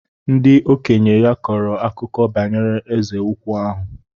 Ndị okenye ya kọrọ akụkọ banyere Eze ukwu ahụ.